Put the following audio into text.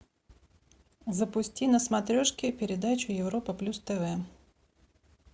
запусти на смотрешке передачу европа плюс тв